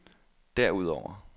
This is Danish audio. derudover